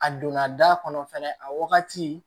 A donna da kɔnɔ fɛnɛ a wagati